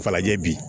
Falajɛ bi